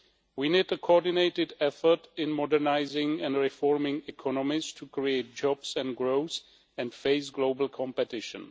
We need a coordinated effort in modernising and reforming economies to create jobs and growth and face global competition.